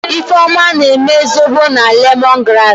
Ifeoma eme zobo na lemongrass.